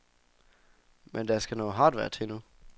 Men der skal noget hardware til, nu.